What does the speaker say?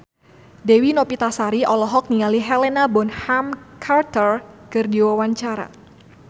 Dewi Novitasari olohok ningali Helena Bonham Carter keur diwawancara